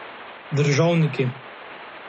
Državniki.